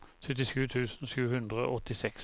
syttisju tusen sju hundre og åttiseks